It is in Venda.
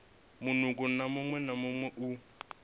munukho muṅwe na muṅwe u